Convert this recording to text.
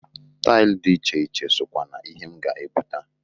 Tail di iche iche sokwa n'ihe m ga-ebuta.